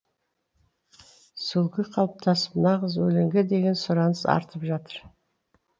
сүлгі қалыптасып нағыз өлеңге деген сұраныс артып жатыр